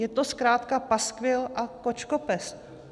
Je to zkrátka paskvil a kočkopes.